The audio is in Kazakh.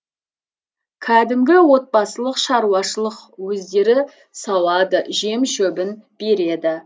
кәдімгі отбасылық шаруашылық өздері сауады жем шөбін береді